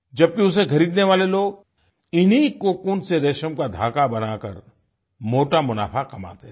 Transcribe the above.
जबकि उसे खरीदने वाले लोग इन्हीं कोकून से रेशम का धागा बना कर मोटा मुनाफा कमाते थे